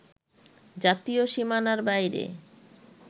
জাতীয় সীমানার বাইরে